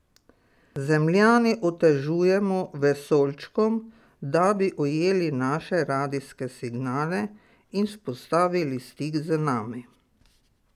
Zemljani otežujemo vesoljčkom, da bi ujeli naše radijske signale in vzpostavili stik z nami.